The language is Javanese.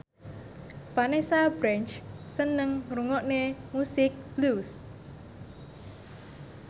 Vanessa Branch seneng ngrungokne musik blues